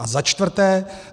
A za čtvrté.